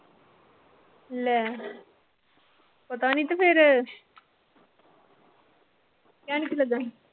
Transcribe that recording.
ਲੈੈ ਪਤਾਨੀ ਕ ਫਿਰ ਕਹਿਣ ਕੀ ਲੱਗਾ ਸੀ?